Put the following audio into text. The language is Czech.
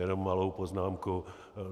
Jenom malou poznámku.